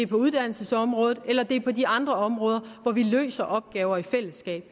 på uddannelsesområdet eller det er på de andre områder hvor vi løser opgaver i fællesskab